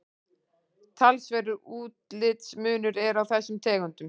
talsverður útlitsmunur er á þessum tegundum